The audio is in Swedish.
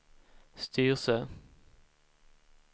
Styrsö